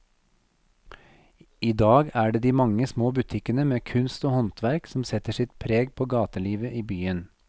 I dag er det de mange små butikkene med kunst og håndverk som setter sitt preg på gatelivet i byen.